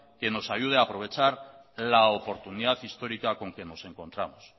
que nos ayude a aprovechar la oportunidad histórica con que nos encontramos